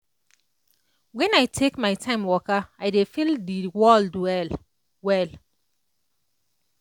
when i take my time waka i dey feel the world well-well.